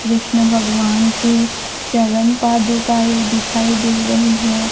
कृष्ण भगवान के चरण पादुका ही दिखाई दे रही है।